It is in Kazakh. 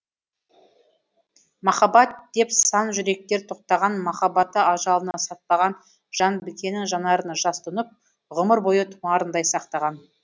махаббат деп сан жүректер тоқтаған махаббаты ажалына сатпаған жан бікеннің жанарына жас тұнып ғұмыр бойы тұмарындай сақтаған